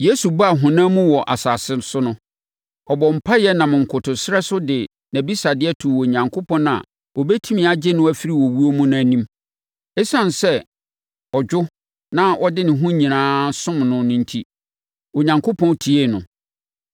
Yesu baa ɔhonam mu wɔ asase so no, ɔbɔɔ mpaeɛ nam nkotosrɛ so de nʼabisadeɛ too Onyankopɔn a ɔbɛtumi agye no afiri owuo mu no anim. Esiane sɛ ɔdwo na ɔde ne ho nyinaa som no no enti, Onyankopɔn tiee no.